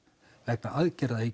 vegna aðgerða í